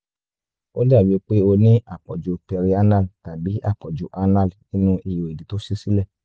ó dàbíi pé o ní àpọ̀jù perianal tàbí àpọ̀jù anal nínu ihò ìdí tó ṣí sílẹ̀